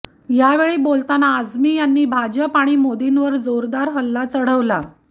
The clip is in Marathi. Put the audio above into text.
यावेळी बोलताना त्यांनी आझमी यांनी भाजप आणि मोदींवर जोरदार हल्ला चढवला